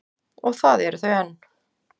Og það eru þau enn.